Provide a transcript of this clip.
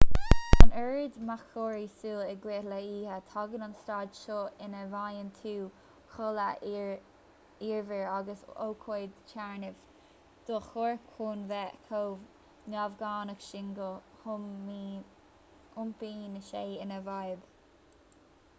gan an oiread mearchorraí súl in aghaidh na hoíche tagann an staid seo ina bhfaigheann tú codladh iarbhír agus ócáid téarnamh do do chorp chun bheith chomh neamhghnách sin go n-iompaíonn sé ina fhadhb